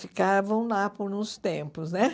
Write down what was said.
Ficavam lá por uns tempos, né?